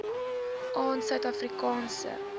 aan suid afrikaanse